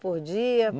Por dia?